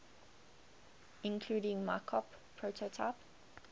including mockup prototype